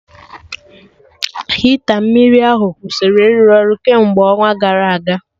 Hita mmiri ahụ kwụsịrị ịrụ ọrụ kemgbe ọnwa gara aga